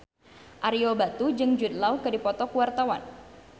Ario Batu jeung Jude Law keur dipoto ku wartawan